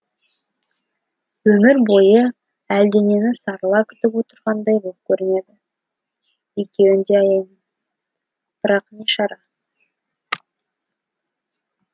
өмір бойы әлденені сарыла күтіп отырғандай боп көрінеді екеуін де аяймын бірақ не шара